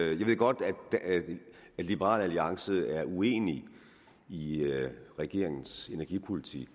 jeg ved godt at liberal alliance er uenig i regeringens energipolitik